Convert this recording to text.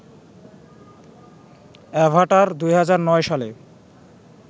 Avatar ২০০৯ সালে